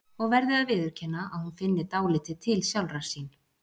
Og verði að viðurkenna að hún finni dálítið til sjálfrar sín.